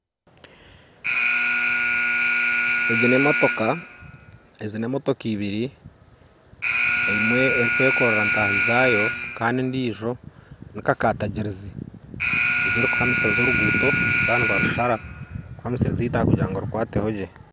Egi n'emotoka ezi n'emotoka ibiri emwe erukwekorra ntahi zayo Kandi endijo ni kakatagirizi egyo erukuhamisiriza orugutto baba nibarushara kuhamisiriza itaka kugira ngu rikwatehogye.